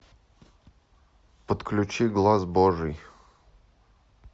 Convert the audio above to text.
подключи глаз божий